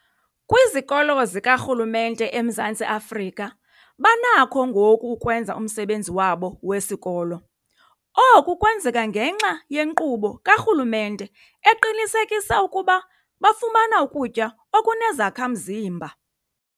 Kwizikolo zikarhulumente eMzantsi Afrika banakho ngoku ukwenza umsebenzi wabo wesikolo. Oku kwenzeka ngenxa yenkqubo karhulumente eqinisekisa ukuba bafumana ukutya okunezakha-mzimba.